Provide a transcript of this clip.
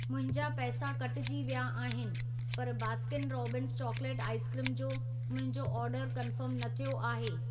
मुंहिंजा पैसा कटिजी विया अहिनि, पर Baskin Robbins chocolate ice cream जो मुंहिंजो ऑर्डर कन्फर्म न थियो आहे।